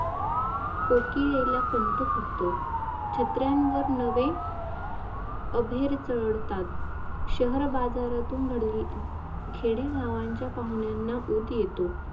कोकिळेला कंठ फुटतो छत्र्यांवर नवे अभेर चढतात शहर बाजारातुन खेडे गावांच्या पाहुण्याना उठ येतो